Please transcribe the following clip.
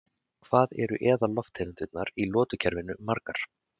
Hvað eru eðallofttegundirnar í lotukerfinu margar?